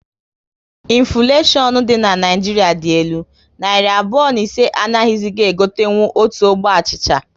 Infuleshion dị na Naịjiria dị elu, narị abụọ na ise anaghizi e gotenkwu otu ogbe achịcha